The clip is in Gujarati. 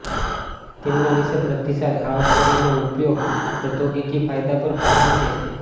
તેમના વિષે પ્રતિસાદ આ ઉપકરણનો ઉપયોગ પ્રૌદ્યોગિકી ફાયદા પર ભાર મૂકે છે